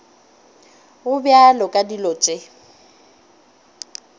go bjalo ka dilo tše